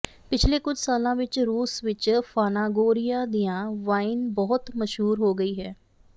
ਪਿਛਲੇ ਕੁਝ ਸਾਲਾਂ ਵਿਚ ਰੂਸ ਵਿਚ ਫਾਨਾਗੋਰਿਆ ਦੀਆਂ ਵਾਈਨ ਬਹੁਤ ਮਸ਼ਹੂਰ ਹੋ ਗਈ ਹੈ